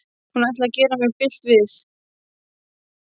Hún ætlaði að gera mér bilt við.